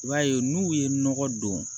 I b'a ye n'u ye nɔgɔ don